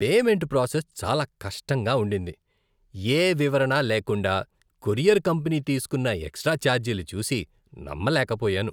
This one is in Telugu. పేమెంట్ ప్రాసెస్ చాలా కష్టంగా ఉండింది, ఏ వివరణ లేకుండా కొరియర్ కంపెనీ తీసుకున్న ఎక్స్ట్రా ఛార్జీలు చూసి నమ్మలేకపోయాను.